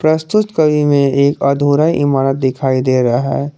प्रस्तुत छवि में एक अधूरा इमारत दिखाई दे रहा है।